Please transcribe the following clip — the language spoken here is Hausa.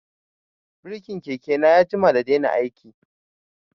Birkin keke na ya jima da daina aiki